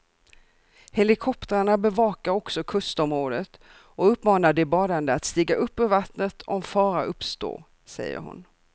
Helikoptrarna bevakar också kustområdet och uppmanar de badande att stiga upp ur vattnet om fara uppstår, säger hon.